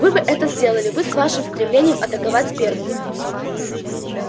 вы бы это сделали вы с вашим стремлением атаковать первыми